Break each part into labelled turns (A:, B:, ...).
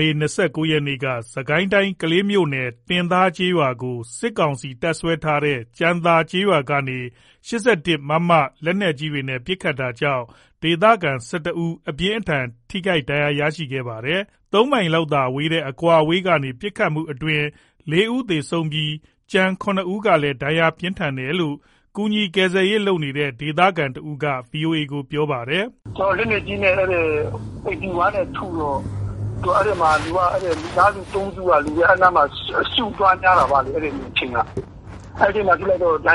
A: မေလ ၂၉ ရက်နေ့က စစ်ကိုင်းတိုင်း ကလေးမြို့နယ် တင်သားကျေးရွာကို စစ်ကောင်စီတပ်စွဲထားတဲ့ ကြံသာကျေးရွာကနေ မမ လက်နက်ကြီးနဲ့ ပစ်ခတ်တာကြောင့် ဒေသခံ ၁၁ ဦးအပြင်းအထန်ထိခိုက်ဒဏ်ရာရခဲ့ပါတယ်။ ၃ မိုင်လောက်သာကွာတဲ့ အကွာအဝေးကနေ ပစ်ခတ်မှုအတွင်း ၄ ဦးသေဆုံးပြီး ကျန် ၇ ဦးကလဲဒဏ်ရာ ပြင်းထန်တယ်လို့ ကူညီကယ်ဆယ်ရေးလုပ်နေတဲ့ ဒေသခံတဦးက ဗွီအိုအေကိုပြောပါတယ်။
B: “လက်နက်ကြီးနဲ့ ၈၁ နဲ့ ထုတော့ အဲ့မှာ လူတွေက မိသားစု ၃ စုက အဲ့နားမှာ စုနေတော့ အစုများကြတာပေါ့ အဲ့ဒီအချိန်က၊ အဲ့ဒီမှာ ဒဏ်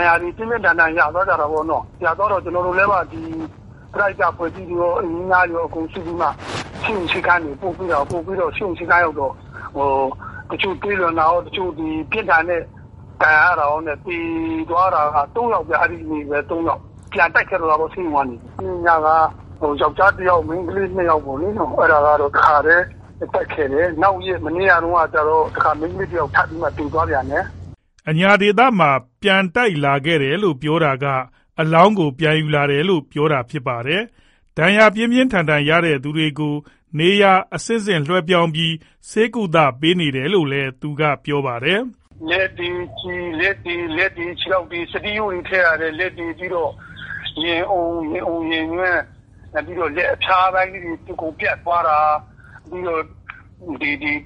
B: ရာတွေ ပြင်းပြင်းထန်ထန်ရသွားကြတာပေါ့နော်။ ရသွားတော့ ကျွန်တော်တို့တွေ ပရဟိတအဖွဲ့တွေရော ရွာသူရွာသားတွေရော အကုန် စုပြီးတော့ ဆေးရုံ ဆေးခန်းတွေပို့ ပို့ပြီးတော့ တချို့သွေးလွန်တာရော၊ ပြင်းထန်တဲ့ ဒဏ်ရာတွေရောနဲ့ဆိုတော့ သေသွားတာက ၃ ယောက်ဗျ။ ပြန်တိုက်ခဲ့တော့တာပေါ့ ဆေးရုံက နေပြီးတော့မှ။ အဲ့ညက ယောက်ျားတစ်ယောက် မိန်းကလေးနှစ်ယောက်ပေါ့လေ၊ အဲ့ဒါကတော့ တခါတည်း ပြန်တိုက်ခဲ့တယ်။ မနေ့ကကျတော့ မိန်းကလေးတစ်ယောက် ထပ်ပြီးတော့မှ သေသွားပြန်တယ်
A: ။” အညာဒေသမှာ ပြန်တိုက်လာခဲ့တယ်လို့ ပြောတာက အလောင်းကို ပြန်ယူလာတယ်လို့ ပြောတာဖြစ်ပါတယ်။ ဒဏ်ရာပြင်းပြင်းထန်ထန်ရသူတွေကို နေရာ အဆင့်ဆင့်လွှဲပြောင်းပြီး ဆေးကုသပေးနေရတယ်လို့လည်း သူက ပြောပါတယ်
B: ။ “လက်တွေ ခြေထောက်တွေ စတီးရိုးတွေ ထည့်ရတယ်၊ ပြီးတော့ ရင်အုံ၊ ရင်ညွှန့်၊ ပြီးတော့ လက်အဖျားပိုင်းလေးတွေ အကုန်ပြတ်သွားတာ။ ပြီးတော့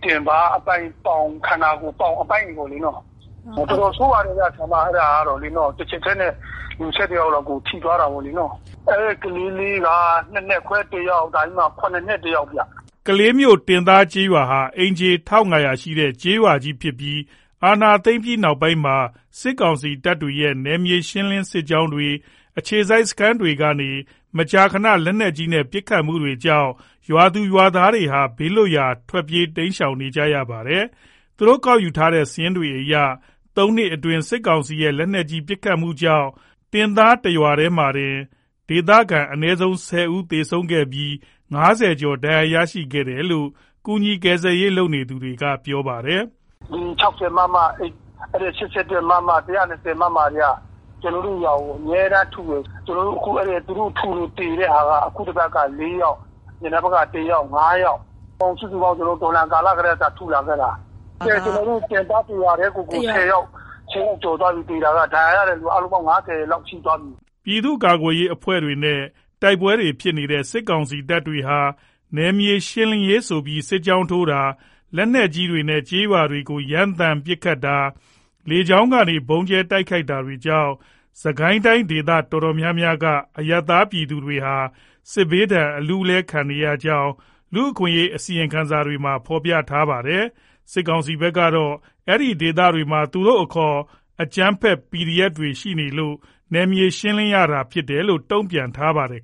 B: တင်ပါးအပိုင်း ပေါင်တို့ ခန္ဓာကိုယ် အပိုင်းတွေပေါ့ ပြတ်တာတို့။ တော်တော်ဆိုးပါတယ်ဗျ၊ အဲ့ဒါကတော့ တစ်ချက်တည်းနဲ့ လူ ၁၁ ယောက်လောက်ကို ထိသွားတာပေါ့။ ကလေးလေးကတော့ ၂နှစ်ခွဲ တစ်ယောက် ၇ နှစ်တစ်ယောက်ဗျ။
A: ” ကလေးမြို့ တင်သားကျေးရွာဟာ အိမ်ခြေ ၁၅၀၀ ဝန်းကျင်ရှိတဲ့ ကျေးရွာကြီးဖြစ်ပြီး အာဏာသိမ်းပြီးနောက်ပိုင်းမှာ စစ်ကောင်စီတပ်တွေရဲ့ နယ်မြေရှင်း စစ်ကြောင်းတွေ၊ အခြေစိုက်စခန်းတွေကနေ မကြာခဏ လက်နက်ကြီးနဲ့ပစ်ခတ်မှုတွေကြောင့် ရွာသူရွာသားတွေဟာ ဘေးလွတ်ရာ ထွက်ပြေးရှောင်တိမ်းနေကြရပါတယ်။ သူတို့ကောက်ယူထားတဲ့ စာရင်းတွေအရ သုံးနှစ်အတွင်း စစ်ကောင်စီရဲ့ လက်နက်ကြီးပစ်ခတ်မှုကြောင့် တင်သားတရွာတည်းမှာတင် ဒေသခံ အနည်းဆုံး ၁၀ ဦးသေဆုံးခဲ့ပြီး ၅၀ ကျော် ဒဏ်ရာ ရခဲ့တယ်လို့ ကူညီကယ်ဆယ်ရေးလုပ်နေသူက ပြောပါတယ်။
B: “၆၀ မမ၊ ၈၁ မမ၊ ၁၂၀ မမ တွေက ကျွန်တော်တို့ ရွာကို အမြဲတမ်းထုတယ်။ ကျွန်တော်တို့ကို အဲ့လိုထုလို့ သေတဲ့ဟာက အခုတစ်ပတ်ကို ၄ ယောက်၊ အရင်တစ်ပတ်က တစ်ယောက်ဆို ၅ ယောက်၊ စုစုပေါင်းဆိုရင် သူတို့ တော်လှန်ကာလ အစကတည်းက ထုလာခဲ့တာ ကျွန်တော်တို့တင်သား တစ်ရွာတည်းကိုတင် ၁၀ယောက် ကျော်သွားပြီ သေတာက ဒဏ်ရာ ရတဲ့လူက အားလုံးပေါင်းရင် ၅၀ လောက်ရှိသွားပြီ။
A: ” ပြည်သူ့ကာကွယ်ရေးအဖွဲ့တွေနဲ့ တိုက်ပွဲတွေဖြစ်နေတဲ့ စစ်ကောင်စီတပ်တွေဟာ စစ်ကောင်စီဟာ နယ်မြေရှင်းလင်းရေးဆိုပြီး စစ်ကြောင်းထိုးတာ၊ လက်နက်ကြီးတွေနဲ့ ကျေးရွာတွေကို ရမ်းသမ်း ပစ်ခတ်တာ၊ လေကြောင်းကနေ ဗုံးကြဲတိုက်ခိုက်တာတွေကြောင့် စစ်ကိုင်းတိုင်းဒေသတော်တော်များများက အရပ်သားပြည်သူတွေဟာ စစ်ဘေးဒဏ်အလူးအလဲခံနေရကြောင်း လူ့အခွင့်အရေးအစီရင်ခံစာတွေမှာ ဖေါ်ပြထားတာပါ။ စစ်ကောင်စီဘက်ကတော့ အဲ့ဒီဒေသတွေမှာ သူတို့အခေါ် အကြမ်းဖက် PDF တွေရှိနေလို့ နယ်မြေရှင်းလင်းရတာဖြစ်တယ်လို့ တုံ့ပြန်ထားပါတယ်